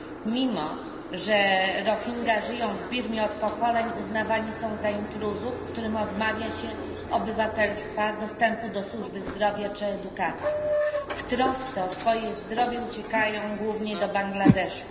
Mimo że Rohingja żyją w Birmie od pokoleń, uznawani są za intruzów, którym odmawia się obywatelstwa, dostępu do służby zdrowia czy edukacji. W trosce o swoje zdrowie uciekają głównie do Bangladeszu.